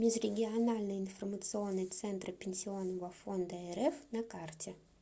межрегиональный информационный центр пенсионного фонда рф на карте